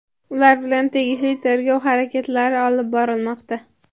ular bilan tegishli tergov harakatlari olib borilmoqda.